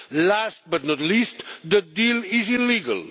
Last but not least, the deal is illegal.